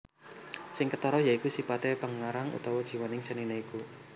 Sing ketara ya iku sipate pengarang utawa jiwaning senine iku